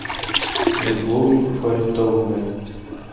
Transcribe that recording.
любовью фаритовной